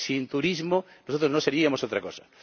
Sin turismo, nosotros seríamos otra cosa.